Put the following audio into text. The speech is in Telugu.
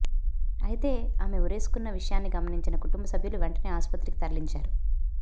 అయితే ఆమె ఉరేసుకొన్న విషయాన్ని గమనించిన కుటుంబసభ్యులు వెంటనే ఆసుపత్రికి తరలించారు